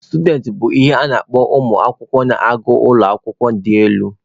Students bụ ihe a na-akpọ ụmụ akwụkwọ na-agụ n'ụlọ akwụkwọ dị elu.